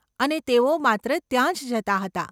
અને તેઓ માત્ર ત્યાં જ જતા હતા.